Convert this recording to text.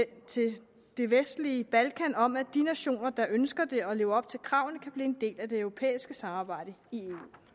til det vestlige balkan om at de nationer der ønsker det og lever op til kravene kan blive en del af det europæiske samarbejde i